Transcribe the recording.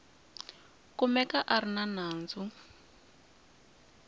kumeka a ri na nandzu